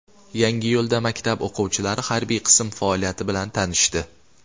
Yangiyo‘lda maktab o‘quvchilari harbiy qism faoliyati bilan tanishdi .